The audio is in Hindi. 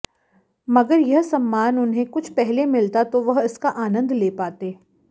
मगर यह सम्मान उन्हें कुछ पहले मिलता तो वह इसका आनंद ले पाते